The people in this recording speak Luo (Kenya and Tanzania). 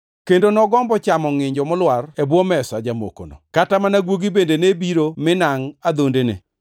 kendo nogombo chamo ngʼinjo molwar e bwo mesa jamokono. Kata mana guogi bende ne biro minangʼ adhondene.